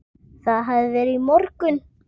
Það hafði verið í morgun.